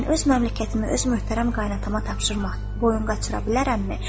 Mən öz məmləkətimi öz möhtərəm qaynatama tapşırmaq boyun qaçıra bilərəmmi?